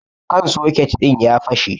kan soket din ya fashe